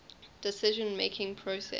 decision making process